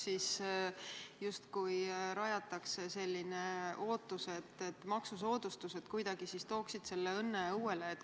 Justkui tekitatakse selline ootus, et maksusoodustused toovad õnne õuele.